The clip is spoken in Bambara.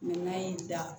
n'a y'i da